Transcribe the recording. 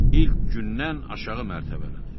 İlk gündən aşağı mərtəbələr.